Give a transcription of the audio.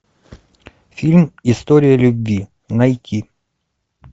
фильм история любви найти